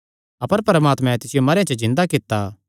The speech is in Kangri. अपर परमात्मैं तिसियो मरेयां च जिन्दा कित्ता